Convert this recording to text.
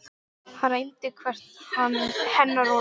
Hann reyndi hvert hennar orð.